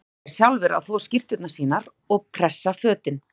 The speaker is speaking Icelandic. Nú urðu þeir sjálfir að þvo skyrtur sínar og pressa fötin.